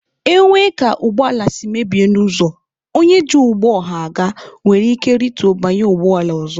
E nwee ka ụgbọ ala si mebie n'ụzọ, onye ji ụgbọ ọha aga nwere ike rituo banye ụgbọala ọzọ.